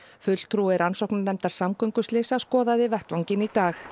fulltrúi rannsóknarnefndar samgönguslysa skoðaði vettvanginn í dag